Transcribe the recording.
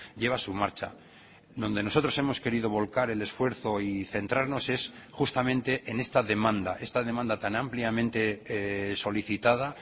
lleva su marcha donde nosotros hemos querido volcar el esfuerzo y centrarnos es justamente en esta demanda esta demanda tan ampliamente solicitada